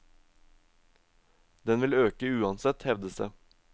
Den vil øke uansett, hevdes det.